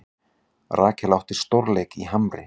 Rakel átti stórleik í Hamri